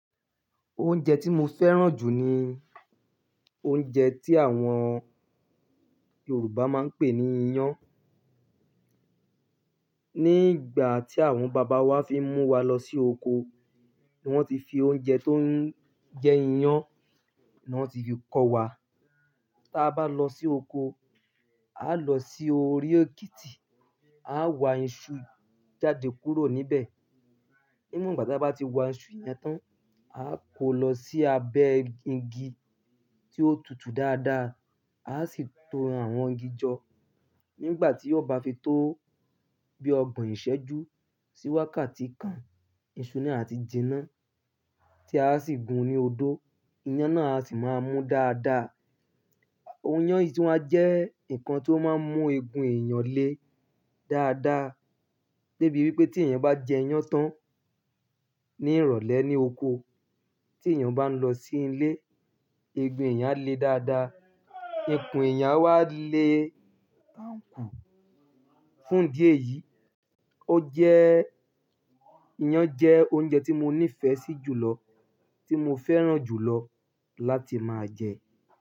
Oúnjẹ tí mo fẹ́ràn jù ni oúnjẹ tí àwọn Yorùbá máa ń pè ní iyán. Ní ìgbà tí àwọn bàbá wa fi mú wa lọ sí oko, ní wọ́n ti fi oúnjẹ tó ń jẹ́ iyán náà ti fi kọ́ wa. Tí a bá lọ sí oko, a lọ sí orí òkìtì, a wá iṣu jáde kúrò níbẹ̀. Nígbà tí a bá ti wa iṣu yẹn tán, a kò lọ sí abẹ́ igi tí ó tutù dáadáa, a sì to àwọn igi jọ. Nígbà tí ó bá fi tó bí ọgbọ̀n ìṣẹ́jú, sì wákati kan, iṣu ni a ti jinná tí a sì gun ní odó, iyán náà a sì máa mú dáadáa. Oyán yìí tí wá jẹ́ nǹkan tí ó máa ń mú egun èèyàn le dáadáa. De bí wípé tí èèyàn bá jẹ iyán tán ní ìrọ̀lẹ́ ní oko, tí èèyàn bá lọ sí ilé, egun èèyàn á le dáadáa, ikùn èèyàn á wá le bá ńkù. Fún idi eyìí, ó jẹ́, iyán jẹ́ oúnjẹ tí mo ní ìfẹ́ sí jùlọ, tí mo fẹ́ràn jùlọ láti máa jẹ.